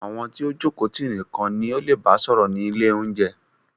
Àwọn tí o jókòó tì nìkan ni o leè bá sọ̀rọ̀ ni ilé oúnjẹ.